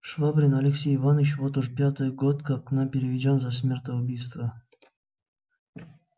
швабрин алексей иваныч вот уж пятый год как к нам переведён за смертоубийство